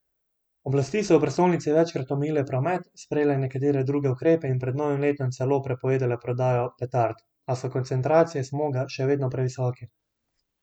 Oblasti so v prestolnici večkrat omejile promet, sprejele nekatere druge ukrepe in pred novim letom celo prepovedale prodajo petard, a so koncentracije smoga še vedno previsoke.